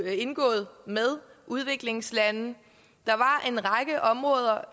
indgået med udviklingslande der var en række områder